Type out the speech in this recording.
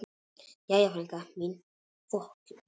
Jæja, frænka mín góð.